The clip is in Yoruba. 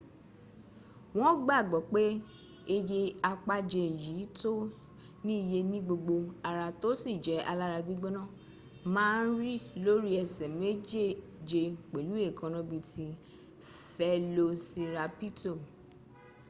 won gbagbo pe eye apaje yi to ni iye nigbogbo ara to si je alara gbigbona ma n ri lori ese mejeje pelu eekana bii ti felosirapito